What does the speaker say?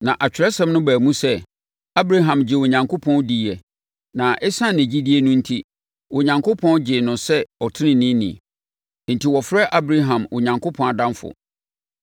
Na Atwerɛsɛm no baa mu sɛ, Abraham gyee Onyankopɔn diiɛ na ɛsiane ne gyidie no enti, Onyankopɔn gyee no sɛ ɔteneneeni. Enti wɔfrɛ Abraham Onyankopɔn adamfo.